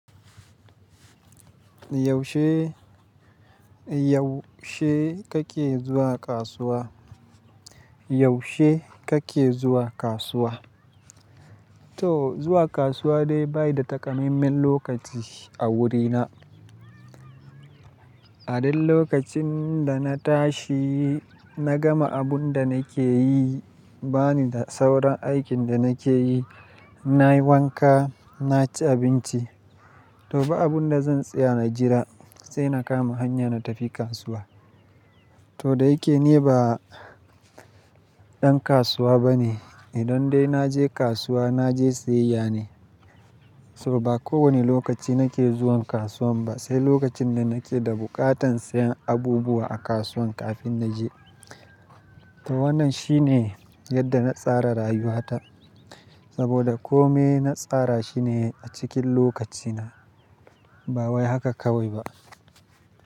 Yaushe, yaushe kake zuwa kasuwa? Yaushe kake zuwa kasuwa? To zuwa kasuwa dai ba yi da takamaiman lokaci a wurina. A duk lokacin da na tashi, na gama abun da nake yi, bani da sauran aikin da nake yi, in nayi wanka, naci abinci. To ba abun da zan tsaya na jira sai na kama hanya na tafi kasuwa. To da yake ni ba ɗan kasuwa bane, idan dai na je kasuwa na je siyayya ne. To ba kowane lokaci nake zuwan kasuwan ba sai lokacin da nake da buƙatan siyan abubuwa a kasuwan kafin na je. To wannan shine yadda na tsara rayuwata saboda kome na tsara shi ne a cikin lokacina ba wai haka kawai ba.